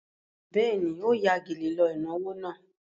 Bẹ́ẹ̀ni, ó ya gèlè lọ ìnáwó náà.